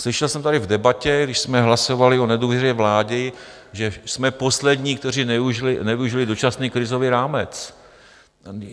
Slyšel jsem tady v debatě, když jsme hlasovali o nedůvěře vlády, že jsme poslední, kteří nevyužili dočasný krizový rámec.